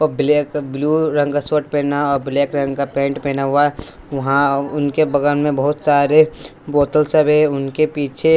Black blue रंग का shirt पहना और ब्लैक रंग का पेंट पहना हुआ वहां उनके बगल में बहुत सारे बोतल सब है उनके पीछे।